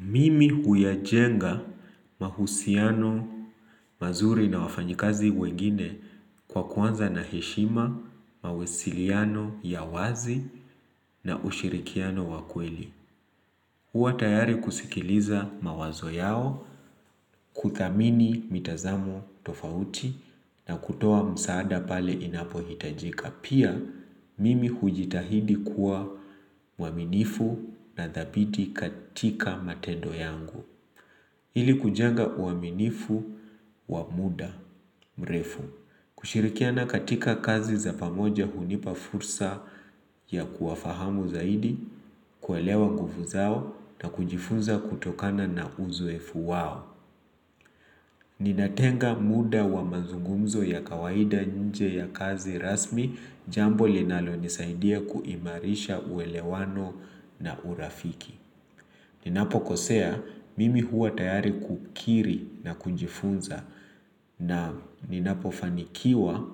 Mimi huyajenga mahusiano mazuri na wafanyikazi wengine kwa kuanza na heshima, mawasiliano ya wazi na ushirikiano wa kweli. Kuwa tayari kusikiliza mawazo yao, kuthamini mitazamo tofauti na kutoa msaada pale inapohitajika. Pia, mimi hujitahidi kuwa mwaminifu na thabiti katika matendo yangu. Ili kujenga uaminifu wa muda mrefu. Kushirikiana katika kazi za pamoja hunipa fursa ya kuwafahamu zaidi, kuelewa nguvu zao na kujifunza kutokana na uzoefu wao. Ninatenga muda wa mazungumzo ya kawaida nje ya kazi rasmi jambo linalonisaidia kuimarisha uelewano na urafiki. Ninapokosea mimi huwa tayari kukiri na kujifunza na ninapofanikiwa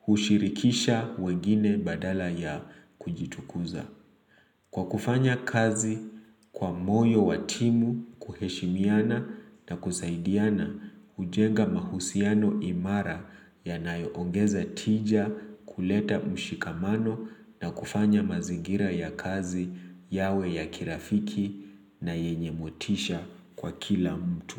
hushirikisha wengine badala ya kujitukuza. Kwa kufanya kazi kwa moyo wa timu kuheshimiana na kusaidiana, kujenga mahusiano imara yanayoongeza tija kuleta mshikamano na kufanya mazingira ya kazi yawe ya kirafiki na yenye motisha kwa kila mtu.